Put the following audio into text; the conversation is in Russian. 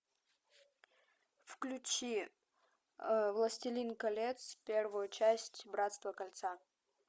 включи властелин колец первую часть братство кольца